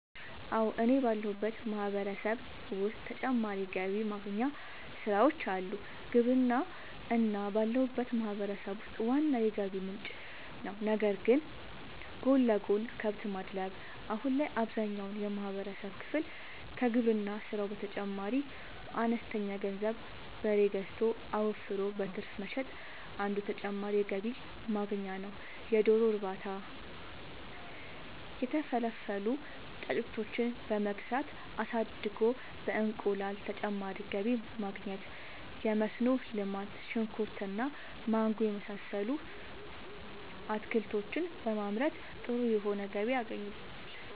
አወ እኔ ባለሁበት ማህበረሰብ ዉስጥ ተጨማሪ ገቢ ማግኛ ስራወች አሉ። ግብርና እኔ ባለሁበት ማህበረሰብ ውስጥ ዋና የገቢ ምንጭ ነዉ ነገር ግን ጎን ለጎን :- ከብት ማድለብ :- አሁን ላይ አብዛኛውን የማህበረሰብ ክፍል ከግብርና ስራው በተጨማሪ በአነስተኛ ገንዘብ በሬ ገዝቶ አወፍሮ በትርፍ መሸጥ አንዱ ተጨማሪ የገቢ ማግኛ ነዉ የዶሮ እርባታ:- የተፈለፈሉ ጫጩቶችን በመግዛት አሳድጎ በእንቁላል ተጨማሪ ገቢ ማግኘት የመስኖ ልማት :-ሽንኩርት እና ማንጎ የመሳሰሉት አትክልቶችን በማምረት ጥሩ የሆነ ገቢ ያገኙበታል